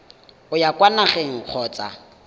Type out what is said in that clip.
o ya kwa nageng kgotsa